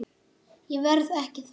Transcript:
Ég verð ekki þar.